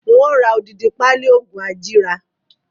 Ń ó ra odidi pali oògùn ajíra